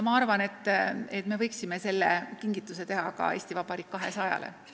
Ma arvan, et me võiksime selle kingituse teha ka 200-aastaseks saavale Eesti Vabariigile.